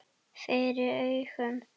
FYRIR AUGUM.